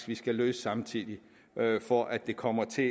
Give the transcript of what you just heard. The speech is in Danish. vi skal løse samtidig for at det kommer til